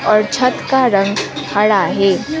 और छत का रंग हरा है।